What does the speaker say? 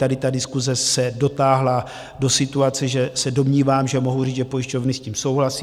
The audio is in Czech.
Tady ta diskuse se dotáhla do situace, že se domnívám, že mohu říct, že pojišťovny s tím souhlasí.